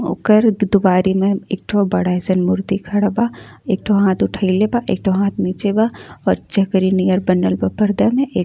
ओकर दि दुवारी में एक ठो बड़ा अइसन मूर्ति खड़ा बा। एक ठो हाथ उठइले बा एक ठो हाथ नीचे बा और चकरी नियर बनल बा पर्दा में। एक --